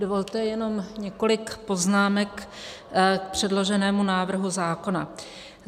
Dovolte jenom několik poznámek k předloženému návrhu zákona.